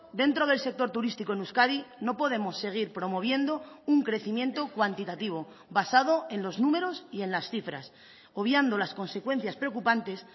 dentro del sector turístico en euskadi no podemos seguir promoviendo un crecimiento cuantitativo basado en los números y en las cifras obviando las consecuencias preocupantes